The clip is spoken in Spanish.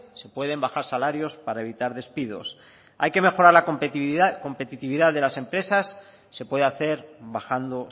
se pueden bajar salarios para evitar despidos hay que mejorar la competitividad de las empresas se puede hacer bajando